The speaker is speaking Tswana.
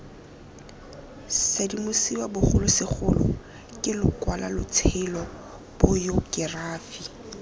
sedimosiwa bogolosegolo ke lokwalotshelo bayokerafi